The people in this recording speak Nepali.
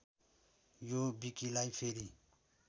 यो विकिलाई फेरी